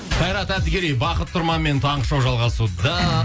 қайрат әділгерей бақыт тұрманмен таңғы шоу жалғасуда